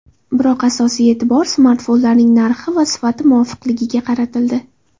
Biroq asosiy e’tibor smartfonlarning narxi va sifati muvofiqliligiga qaratildi.